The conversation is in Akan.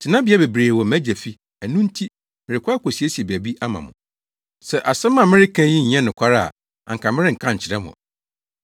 Tenabea bebree wɔ mʼAgya fi, ɛno nti merekɔ akosiesie baabi ama mo. Sɛ asɛm a mereka yi nyɛ nokware a anka merenka nkyerɛ mo.